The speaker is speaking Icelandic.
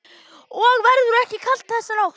Og verður ekki kalt þessa nótt.